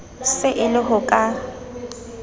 se e le ho ka